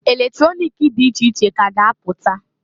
Eletronik di iche iche ka a ga-apụta.